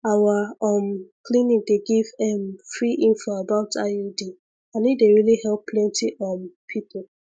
our um clinic dey give ehm free info about iud and e dey really help plenty um people